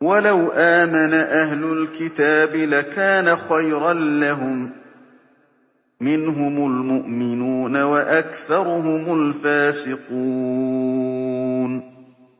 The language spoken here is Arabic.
وَلَوْ آمَنَ أَهْلُ الْكِتَابِ لَكَانَ خَيْرًا لَّهُم ۚ مِّنْهُمُ الْمُؤْمِنُونَ وَأَكْثَرُهُمُ الْفَاسِقُونَ